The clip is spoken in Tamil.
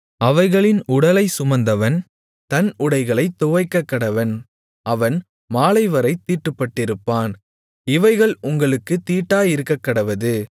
அவைகளின் உடலைச் சுமந்தவன் தன் உடைகளைத் துவைக்கக்கடவன் அவன் மாலைவரைத் தீட்டுப்பட்டிருப்பான் இவைகள் உங்களுக்குத் தீட்டாயிருக்கக்கடவது